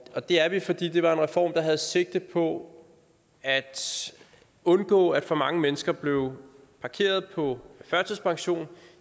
og det er vi fordi det var en reform der havde sigte på at undgå at for mange mennesker bliver parkeret på førtidspension